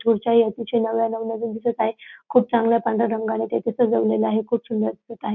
खुर्च्याही अतिशय नव्या नवनवीन दिसत आहे खूप चांगला पांढऱ्या रंगाने ते तिथ सजवलेल आहे खूप सुंदर दिसत आहे.